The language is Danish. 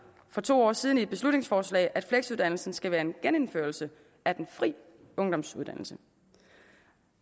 for to år siden i et beslutningsforslag at fleksuddannelsen skal være en genindførelse af den fri ungdomsuddannelse